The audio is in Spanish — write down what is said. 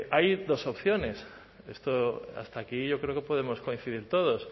hay dos opciones esto hasta aquí yo creo que podemos coincidir todos